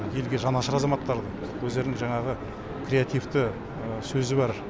елге жанашыр азаматтарды өздерінің жаңағы креативті сөзі бар